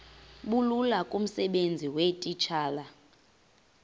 bulula kumsebenzi weetitshala